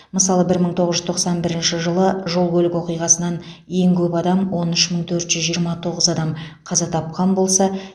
мысалы бір мың тоғыз жүз тоқсан бірінші жылы жол көлік оқиғасынан ең көп адам он үш мың төрт жүз жиырма тоғыз адам қаза тапқан болса